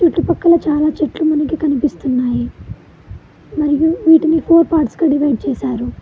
ఈ పక్కన చాలా చెట్లు మనకి కనిపిస్తున్నాయి మరియు వీటిని ఫోర్ పార్ట్స్ గా డివైడ్ చేశారు.